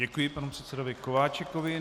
Děkuji panu předsedovi Kováčikovi.